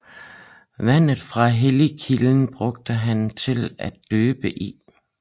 Vandet fra helligkilden brugte han til at døbe i